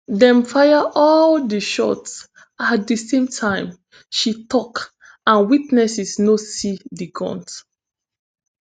dem fire all di shots at di same time she tok and witnesses no see di guns